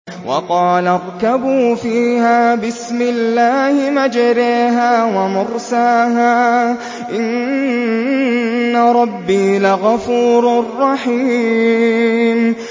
۞ وَقَالَ ارْكَبُوا فِيهَا بِسْمِ اللَّهِ مَجْرَاهَا وَمُرْسَاهَا ۚ إِنَّ رَبِّي لَغَفُورٌ رَّحِيمٌ